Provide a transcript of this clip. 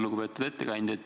Lugupeetud ettekandja!